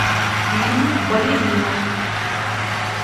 фильм балерина